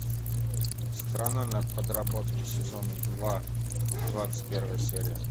страна на подработке сезон два двадцать первая серия